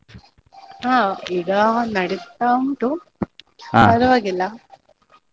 ಹಾ ಈಗ ನಡಿತಾ ಉಂಟು.